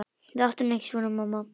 Láttu nú ekki svona mamma.